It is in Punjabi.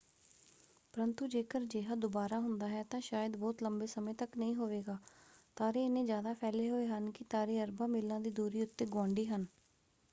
ਪਰੰਤੂ ਜੇਕਰ ਅਜਿਹਾ ਦੁਬਾਰਾ ਹੁੰਦਾ ਹੈ ਤਾਂ ਸ਼ਾਇਦ ਬਹੁਤ ਲੰਬੇ ਸਮੇਂ ਤੱਕ ਨਹੀਂ ਹੋਵੇਗਾ। ਤਾਰੇ ਏਨ੍ਹੇ ਜ਼ਿਆਦਾ ਫੈਲੇ ਹੋਏ ਹਨ ਕਿ ਤਾਰੇ ਅਰਬਾਂ ਮੀਲਾਂ ਦੀ ਦੂਰੀ ਉੱਤੇ ਗੁਆਂਢੀ ਹਨ।